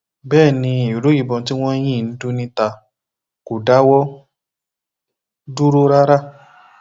bẹẹ ni ìró ìbọn tí wọn ń yìn ń dún níta kò dáwọ dúró rárá